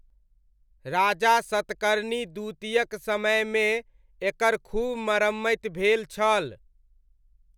राजा सतकर्णी द्वितीयक समयमे, एकर खूब मरम्मति भेल छल।